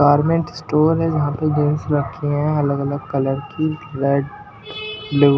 Garment store हैजहां पर jeans रखी है अलग-अलग कलर की रेड। लो --